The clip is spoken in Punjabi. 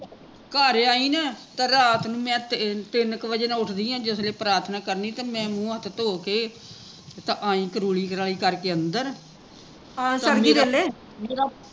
ਘਰ ਆਈ ਨਾ, ਤਾਂ ਰਾਤ ਨੂ ਮੈਂ ਤਿੰਨ ਕੁ ਵਜੇ ਨਾਲ਼ ਉੱਠਦੀ ਜਿਸ ਵੇਲੇ ਪ੍ਰਾਥਨਾ ਕਰਨੀ ਤੇ ਮੈਂ ਮੁਹ ਹੱਥ ਧੋ ਕੇ ਤੇ ਆਈ ਕਰੂਲੀ ਕਰਲੀ ਕਰ ਕੇ ਅੰਦਰ